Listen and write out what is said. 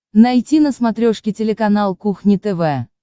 найти на смотрешке телеканал кухня тв